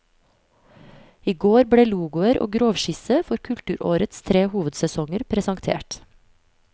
I går ble logoer og grovskisse for kulturårets tre hovedsesonger presentert.